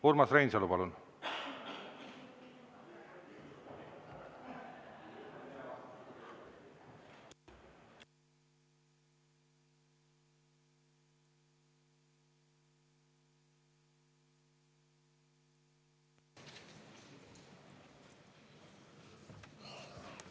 Urmas Reinsalu, palun!